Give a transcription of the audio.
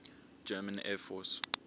german air force